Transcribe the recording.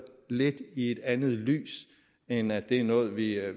lidt andet lys end at det er noget vi er